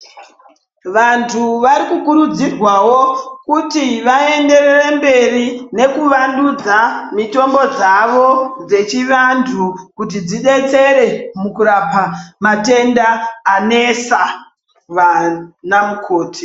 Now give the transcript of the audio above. Vantu vanokurudzirwawo kuti vaenderere mberi nekuvandudza mitombo dzavo dzechivantu kuti dzidetsere pakurapa matenda anesa vanamukoti.